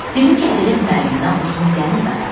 Dedim ki, ədəbiyyat müəllimindən xoşumuz gəlmirdi axı.